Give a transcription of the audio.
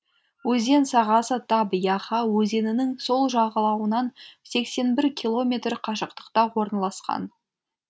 өзен сағасы таб яха өзенінің сол жағалауынан сексен бір километр қашықтықта орналасқан